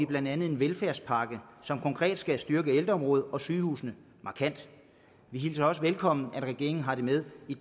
blandt andet en velfærdspakke som konkret skal styrke ældreområdet og sygehusene markant vi hilser også velkommen at regeringen har det med i